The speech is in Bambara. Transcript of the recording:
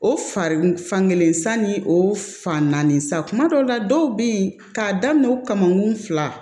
O fari fankelen san ni o fan naani sa kuma kuma dɔw la dɔw bɛ yen k'a daminɛ o kamakun fila